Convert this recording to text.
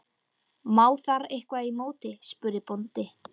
Má þar eitthvað í móti, spurði bóndi?